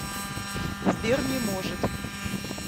сбер не может